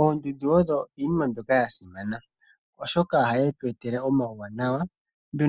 Oondundu odho iinima mbyoka ya simana oshoka ohadhi tu etele omawuwanawa.